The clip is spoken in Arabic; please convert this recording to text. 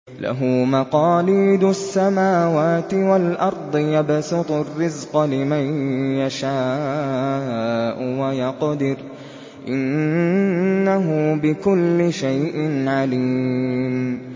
لَهُ مَقَالِيدُ السَّمَاوَاتِ وَالْأَرْضِ ۖ يَبْسُطُ الرِّزْقَ لِمَن يَشَاءُ وَيَقْدِرُ ۚ إِنَّهُ بِكُلِّ شَيْءٍ عَلِيمٌ